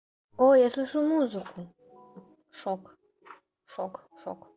оо я слышу музыку шок шок шок